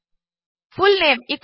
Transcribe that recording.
full name